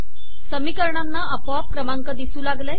समीकरणांना आपोआप क्रमांक दिसू लागले